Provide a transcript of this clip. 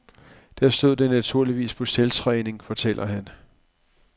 Der stod den naturligvis på selvtræning, fortæller han.